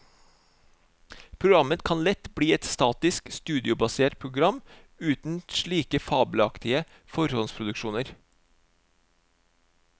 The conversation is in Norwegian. Programmet kan lett bli et statisk, studiobasert program uten slike fabelaktige forhåndsproduksjoner.